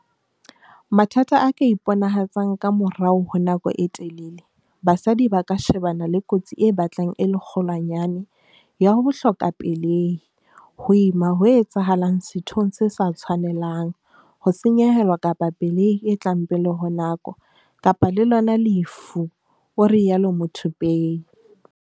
"Mathata a ka iponahatsang ka morao honako e telele, basadi ba ka shebana le kotsi e batlang e le kgolwanyane ya ho hloka pelehi, ho ima ho etsahalang sethong se sa tshwanelang, ho senyehelwa kapa pelehi e tlang pele ho nako, kapa le lona lefu," o rialo Muthupei.